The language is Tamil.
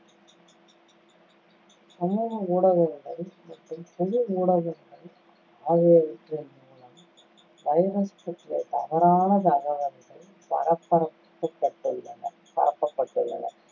சமூக ஊடகங்கள் மற்றும் பொது ஊடகங்கள் ஆகியவற்றின் மூலம் virus பற்றிய தவறான தகவல்கள் பரப்ப~ பட்டுள்ளன பரப்பப்பட்டுள்ளன.